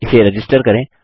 इसे रजिस्टर करें